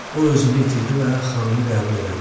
O özünü itirdi və xanımı qəbul elədi.